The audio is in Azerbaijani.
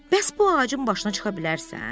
Bəs bu ağacın başına çıxa bilərsən?